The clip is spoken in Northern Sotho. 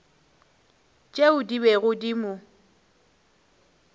tšeo di bego di mo